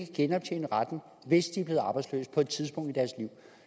genoptjene retten hvis de er blevet arbejdsløse på et tidspunkt i deres liv